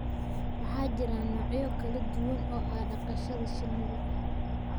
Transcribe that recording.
Waxaa jira noocyo kala duwan oo ah dhaqashada shinnida